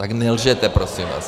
Tak nelžete prosím vás.